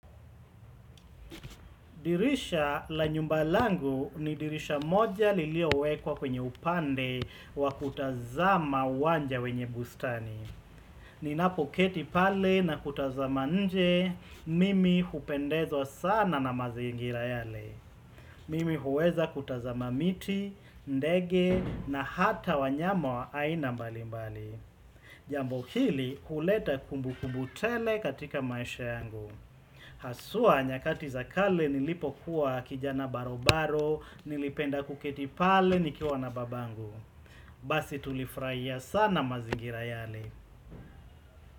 Dirisha la nyumbalangu ni dirisha moja lilio wekwa kwenye upande wa kutazama wanja wenye bustani. Ninapoketi pale na kutazama nje, mimi hupendezwa sana na mazingira yale. Mimi huweza kutazama miti, ndege na hata wanyama wa aina mbalimbali. Jambo hili huleta kumbu kumbutele katika maisha yangu. Hasua nyakati zakale nilipo kuwa kijana barobaro nilipenda kuketi pale nikiwa na babangu Basi tulifraia sana mazingira yale.